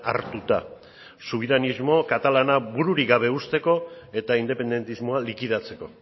hartuta subiranismo katalana bururik gabe uzteko eta independentismoa likidatzeko